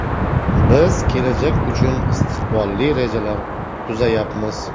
Biz kelajak uchun istiqbolli rejalar tuzayapmiz.